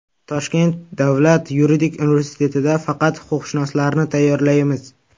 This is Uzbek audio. Toshkent davlat yuridik universitetida faqat huquqshunoslarni tayyorlaymiz.